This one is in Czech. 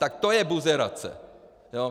Tak to je buzerace!